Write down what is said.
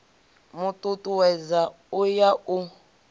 mu tutuwedza u ya u